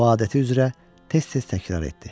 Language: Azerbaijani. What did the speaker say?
O adəti üzrə tez-tez təkrarladı.